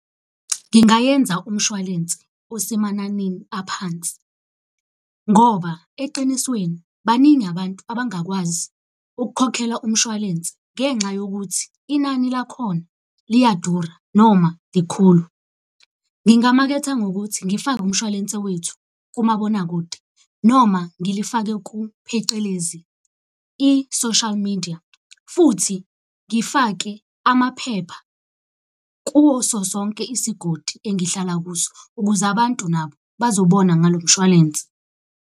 Ngingayenza umshwalense osemananini aphansi, ngoba eqinisweni baningi abantu abangakwazi ukukhokhela umshwalense ngenxa yokuthi inani lakhona liyadura noma likhulu. Ngingamaketha ngokuthi ngifake umshwalense wethu kumabonakude noma ngilifake phecelezi i-social media. Futhi ngifake amaphepha kuwo sonke isigodi engihlala kuso, ukuze abantu nabo bazobona ngalo mshwalense.